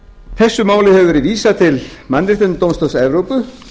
þessu máli hefur verið vísað til mannréttindadómstóls evrópu